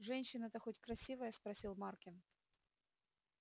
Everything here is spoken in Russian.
женщина-то хоть красивая спросил маркин